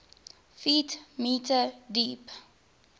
ft m deep